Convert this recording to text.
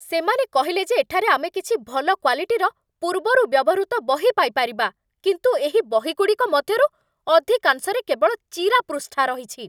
ସେମାନେ କହିଲେ ଯେ ଏଠାରେ ଆମେ କିଛି ଭଲ କ୍ଵାଲିଟିର ପୂର୍ବରୁ ବ୍ୟବହୃତ ବହି ପାଇପାରିବା, କିନ୍ତୁ ଏହି ବହିଗୁଡ଼ିକ ମଧ୍ୟରୁ ଅଧିକାଂଶରେ କେବଳ ଚିରା ପୃଷ୍ଠା ରହିଛି।